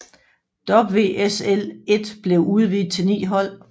WSL 1 blev udvidet til ni hold